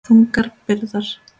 Þungar byrðar.